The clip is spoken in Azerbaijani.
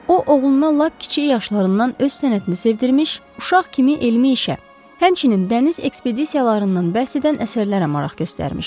O, oğluna lap kiçik yaşlarından öz sənətini sevdirmiş, uşaq kimi elmi işə, həmçinin dəniz ekspedisiyalarından bəhs edən əsərlərə maraq göstərmişdi.